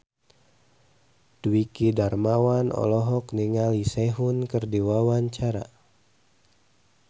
Dwiki Darmawan olohok ningali Sehun keur diwawancara